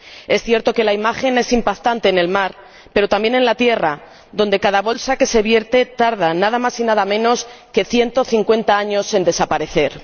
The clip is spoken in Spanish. Es cierto que la imagen es impactante en el mar, pero también en la tierra, donde cada bolsa que se vierte tarda nada más y nada menos que 150 años en desaparecer.